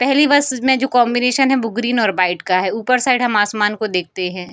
पहली बस में जो कॉम्बिनेशन है वो ग्रीन और बाइट का है ऊपर साइड हम आसमान को देखते हैं।